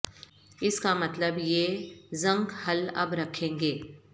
اس کا مطلب یہ زنک حل اب رکھیں گے